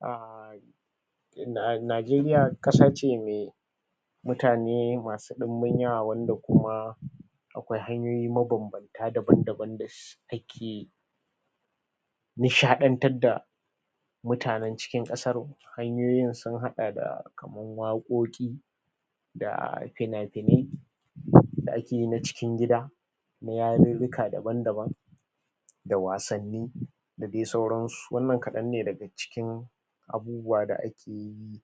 um Najeriya ƙasa ce mai mutane masu ɗimbin yawa wanda kuma akwai hanyoyi mabambamtana daban-dabam da take nishaɗantar da mutanen cikin ƙasar. Hanyoyin sun haɗa da kaman waƙoƙi da fina-finai da ake yi na cikin gida na yarurruka daban-daban da wasanni da dai sauransu. Wannan kaɗan ne daga cikin abubuwa da ake yi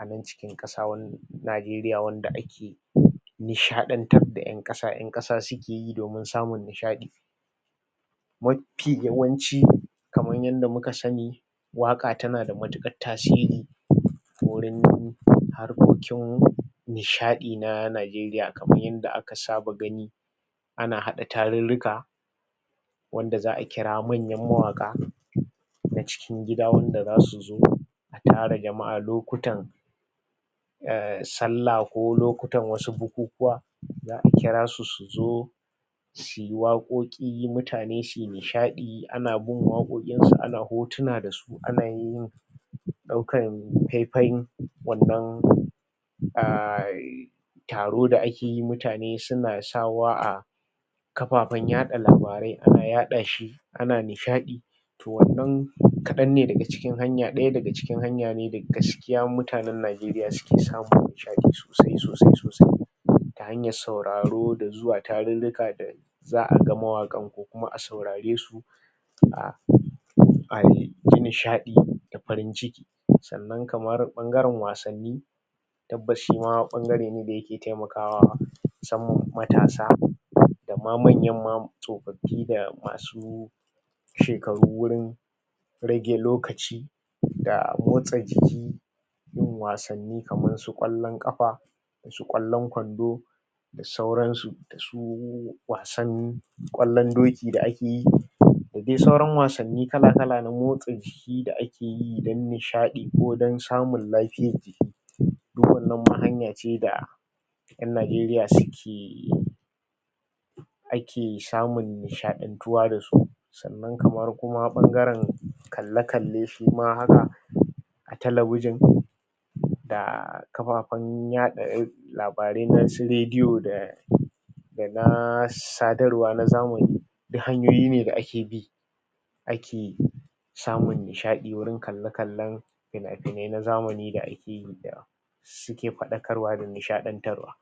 a nan cikin ƙasa Najeriya wanda ake nishaɗantar da ƴan ƙasa, ƴan ƙasa suke yi domin samun nishaɗ. Mafi yawanci kaman yanda muka sani, waƙa tana da matuƙar tasiri wurin harkokin nishaɗi na Najeriya. Kamar yanda aka saba gani, ana haɗa tarurruka wanda za a kira mwanyan mawaƙa na cikin gida, wanda za su zo a tara jama'a lokutan um Sallah ko lokutan wasu bukukuwa za a kira su su zo su yi waƙoƙi, mutane su yi nishaɗi, ana in waƙoƙinsu ana hotuna da su ana yin ɗaukan faifayin wannan um taro da ake yi; mutane suna sakawa a kafafen yaɗa labarai, ana yaɗa shi, ana nishaɗi to wannan kaɗan ne daga cikin hanya, ɗaya cikin hanya ne da gaskiya mutanen Najeriya suke samun nishaɗi sosai-sosai, sosai ta hanyar sauraro da zuwa tarurruka da za a ga mawaƙan ko kuma a saurare su um a yi nishaɗi da farin ciki. Sannan kamar ɓangaren wasanni Tabbas shi ma ɓangare ne da yake taimaka musamman matasa, da ma manyan ma tsofaffi da masu shekaru wurin rage lokaci da motsa jiki, yin wasanni kamar su ƙwallon ƙafa da su ƙwallon kwando da sauransu, da su wasan ƙwallon doki da ake yi, da dai sauran wasanni kala-kala na motsa jiki da ake yi don nishaɗi ko don samun lafiyar jiki duk wannan ma hanya ce da ƴan Najeriya suke ake samun nishaɗantuwa da su. Sannan kamar kuma ɓangaren kalle-kalle shi ma haka a talabijin da kafafen yaɗa labarai na su rediyo da da na sadarwa na zamani, duk hanyoyi ne da ake bi ake samun nishaɗi wurin kalle-kallen fina-finai na zamani da ake yi da suke faɗakarwa da nishaɗantarwa.